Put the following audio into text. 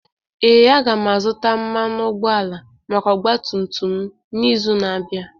Ee, aga m azụta mmanụ ụgbọala maka ọgba tum tum m n'izu na-abịa.